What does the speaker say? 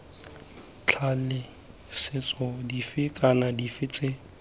tlaleletso dife kana dife tse